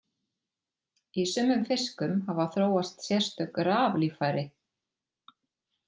Í sumum fiskum hafa þróast sérstök raflíffæri.